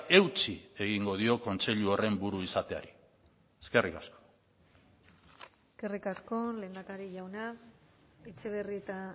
eutsi egingo dio kontseilu horren buru izateari eskerrik asko eskerrik asko lehendakari jauna etxebarrieta